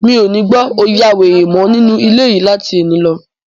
Mi ò ní gbọ́ 'o ya wèrè' mọ́ nínú ilé yìí láti ẹni lọ.